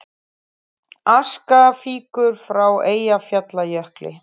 Aska fýkur frá Eyjafjallajökli